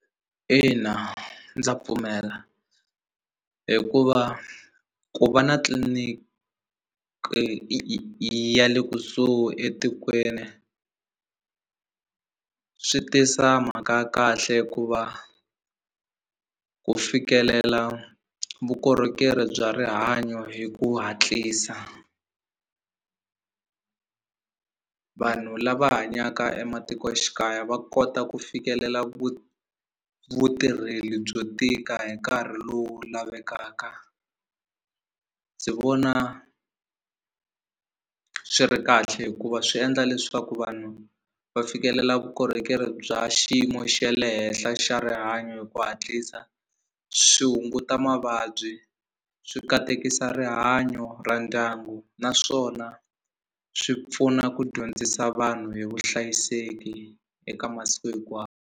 Ina ndza pfumela hikuva ku va na tliliniki yi yi yi ya le kusuhi etikweni swi tisa mhaka ya kahle hikuva ku fikelela vukorhokeri bya rihanyo hi ku hatlisa vanhu lava hanyaka ematikoxikaya va kota ku fikelela vutirheli byo tika hi nkarhi lowu lavekaka ndzi vona swi ri kahle hikuva swi endla leswaku vanhu va fikelela vukorhokeri bya xiyimo xa le henhla xa rihanyo hi ku hatlisa swi hunguta mavabyi swi katekisa rihanyo ra ndyangu naswona swi pfuna ku dyondzisa vanhu hi vuhlayiseki eka masiku .